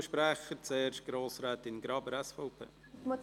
Zuerst hat Grossrätin Graber das Wort.